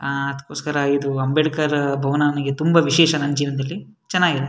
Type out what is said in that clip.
ಆಹ್ಹ್ ಅದಕ್ಕೋಸ್ಕರ ಇದು ಅಂಬೇಡ್ಕರ್ ಭವನ ನಮಿಗೆ ತುಂಬ ವಿಶೇಷ ನಮ್ ಜೀವನದಲ್ಲಿ ಚೆನ್ನಾಗಿದೆ.